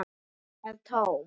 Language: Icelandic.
Kirkjan er tóm.